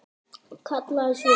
Kallaði svo